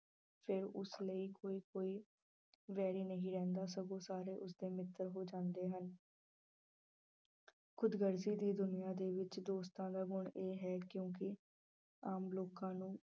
ਫਿਰ ਉਸ ਲਈ ਕੋਈ ਕੋਈ ਵੈਰੀ ਨਹੀਂ ਰਹਿੰਦਾ ਸਗੋਂ ਸਾਰੇ ਉਸਦੇ ਮਿੱਤਰ ਹੋ ਜਾਂਦੇ ਹਨ ਖੁਦਗਰਜੀ ਦੀ ਦੁਨੀਆਂ ਦੇ ਵਿੱਚ ਦੋਸਤਾਂ ਦਾ ਗੁਣ ਇਹ ਹੈ ਕਿਉਂਕਿ ਆਮ ਲੋਕਾਂ ਨੂੰ